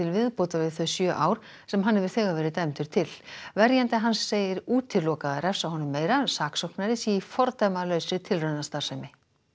viðbótar við þau sjö ár sem hann hefur þegar verið dæmdur til verjandi hans segir útilokað að refsa honum meira saksóknari sé í fordæmalausri tilraunastarfsemi